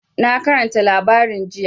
Na karanta labarin jiya.